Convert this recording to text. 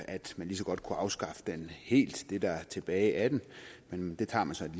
at man lige så godt kunne afskaffe den helt det der er tilbage af den men det tager man så et